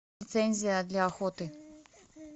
лицензия для охоты